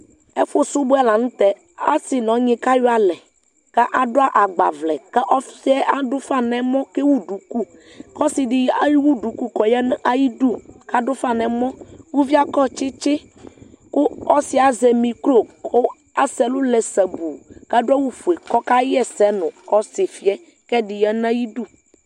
ɛfu subɔ lantɛ ɔse n'ɔnyi kayɔ alɛ k'ado agbavlɛ k'ɔsiɛ ado ufa n'ɛmɔ k'ewu duku k'ɔse di ewu duku k'ɔya n'ayidu k'ado ufa n'ɛmɔ uvie akɔ tsitsi kò ɔsiɛ azɛ mikro kò asɛ ɛlu lɛ sabu k'ado awu fue kò ɔka ɣ'ɛsɛ no ɔsifie k'ɛdi ya n'ayidu